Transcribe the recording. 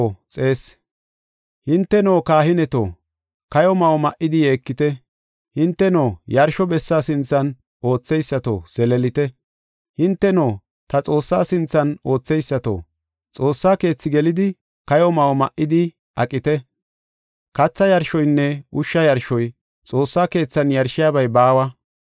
Hinteno kahineto, kayo ma7o ma7idi yeekite; hinteno yarsho bessa sinthan ootheysato, zeleelite. Hinteno ta Xoossaa sinthan ootheysato, xoossa keethi gelidi, kayo ma7o ma7idi aqite. Katha yarshoynne ushsha yarshoy, Xoossa keethan yarshiyabay baawa.